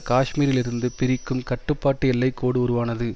காஷ்மீரிலிருந்து பிரிக்கும் கட்டுப்பாட்டு எல்லை கோடு உருவானது